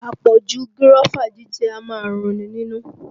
Àpọ̀jù gírọ́fà jíjẹ a máa run ni nínú